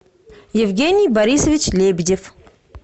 евгений борисович лебедев